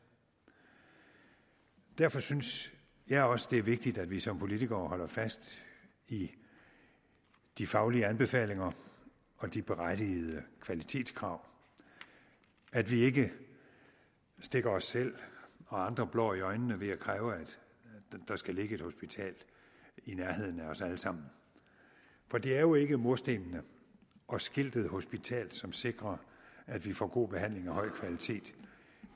derfor synes jeg også at det er vigtigt at vi som politikere holder fast i de faglige anbefalinger og de berettigede kvalitetskrav at vi ikke stikker os selv og andre blår i øjnene ved at kræve at der skal ligge et hospital i nærheden af os alle sammen for det er jo ikke murstenene og skiltet hospital som sikrer at vi får god behandling af høj kvalitet